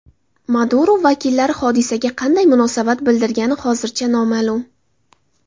Maduro vakillari hodisaga qanday munosabat bildirgani hozircha noma’lum.